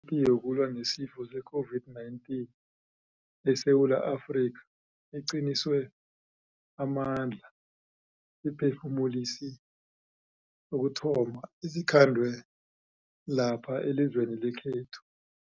Ipi yokulwa nesifo se-COVID-19 eSewula Afrika iqiniswe amandla siphefumulisi sokuthoma esikhandwe lapha elizweni lekhethu.